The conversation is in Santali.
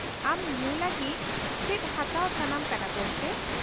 ᱟᱢ ᱧᱩ ᱞᱟᱹᱜᱤᱫ ᱪᱮᱫ ᱦᱟᱛᱟᱣ ᱥᱟᱱᱟᱢ ᱠᱟᱱᱟ ᱜᱚᱝᱠᱮ ?